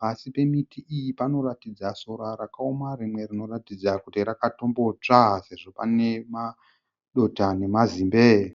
Pasi pemiti iyi panoratidza sora rakaoma, rimwe rinoratidza kuti rakatombotsva sezvo pane madota nemazimbe.